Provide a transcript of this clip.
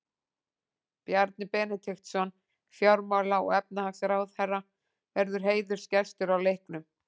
Bjarni Benediktsson, fjármála- og efnahagsráðherra verður heiðursgestur á leiknum.